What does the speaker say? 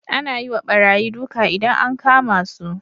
Ana yiwa barayi duka idan an kama su